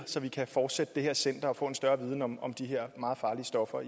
så vi kan fortsætte det her center og få en større viden om om de her meget farlige stoffer